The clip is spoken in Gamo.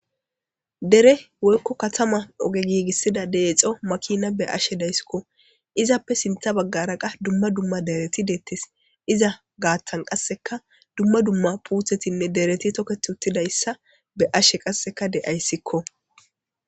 Dere woykko katama oge giigissida deexo makina be ashe deyssikko izappe sintha baggara qa dumma dumma dereti deettis iza gaattan qasseka dumma dumma puuthetinne dereti toket uttidayssa be ashe qasseka de7ayssikko.